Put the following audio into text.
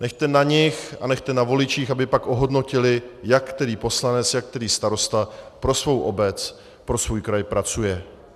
Nechte na nich a nechte na voličích, aby pak ohodnotili, jak který poslanec, jak který starosta pro svou obec, pro svůj kraj pracuje.